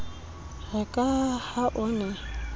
re ka ha o ne